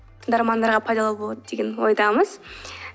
тыңдармандарға пайдалы болады деген ойдамыз